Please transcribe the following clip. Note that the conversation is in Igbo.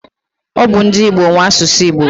Ọ bu ndi Igbo nwe asụsụ Igbo.